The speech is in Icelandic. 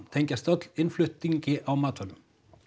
tengjast allar innflutningi á matvælum